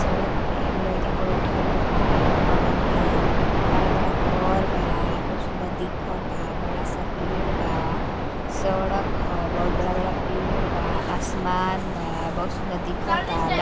सड़क पे एक लड़का बईठल बा बगल में बड़ा बड़ा घर बा खूब सुन्दर दिखता। बड़ा सा पेड़ बा सड़क ह बहुत बड़ा बड़ा पेड़ बा आसमान बा बहुत सुन्दर दिखता।